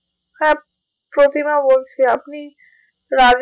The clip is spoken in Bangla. হ্যাঁ প্রতিমা বলছি আপনি রাজেশ ভাই,